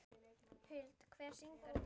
Huld, hver syngur þetta lag?